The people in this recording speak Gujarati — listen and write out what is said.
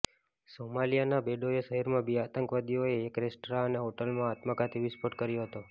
સોમાલિયાના બેડોઆ શહેરમાં બે આતંકવાદીઓએ એક રેસ્ટરા અને હોટલમાં આત્મઘાતી વિસ્ફોટ કર્યો હતો